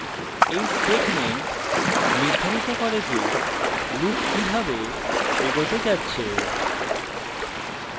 এই statement নির্ধারিত করে যে loop কিভাবে এগোতে যাচ্ছে